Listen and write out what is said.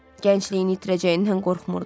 Gəncliyini itirəcəyindən qorxmurdu.